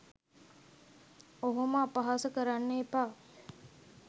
ඔහොම අපහාස කරන්න එපා.